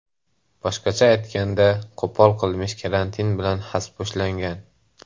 Boshqacha aytganda, qo‘pol qilmish karantin bilan xaspo‘shlangan.